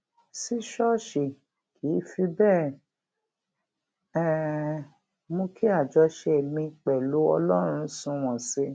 sí ṣóòṣì kì í fi béè um mú kí àjọṣe mi pèlú ọlórun sunwòn sí i